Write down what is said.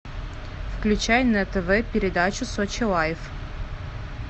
включай на тв передачу сочи лайф